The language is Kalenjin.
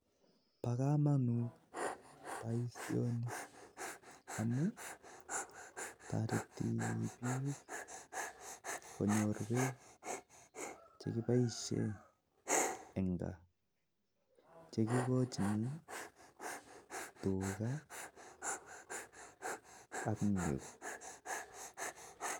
Bo kamanut boisioni amun toreti bik konyor beek che kiboisien eng kaa, che kigochini tuga ak nego.